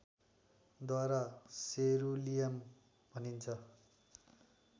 द्वारा सेरुलियम भनिन्छ